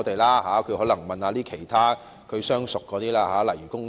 他可能要問問其他相熟的政黨，例如工黨。